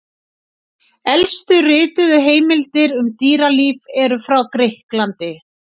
Elstu rituðu heimildir um dýralíf eru frá Grikklandi.